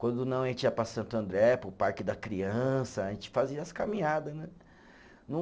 Quando não, a gente ia para Santo André, para o Parque da Criança, a gente fazia as caminhada, né?